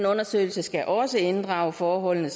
undersøgelsen skal også inddrage forholdene